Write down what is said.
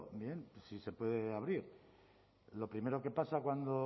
bien si se puede abrir lo primero que pasa cuando